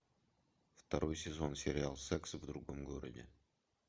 второй сезон сериал секс в другом городе